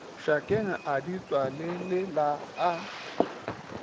šakeng a di tswalelela a